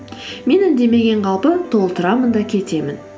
мен үндемеген қалпы толтырамын да кетемін